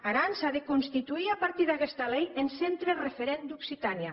aran s’a de constituïr a partir d’aguesta lei en centre referent d’occitània